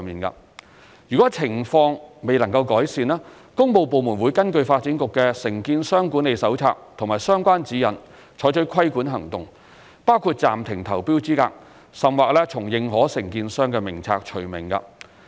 如情況未能改善，工務部門會根據發展局的《承建商管理手冊》及相關指引採取規管行動，包括暫停投標資格，甚或從認可承建商名冊除名。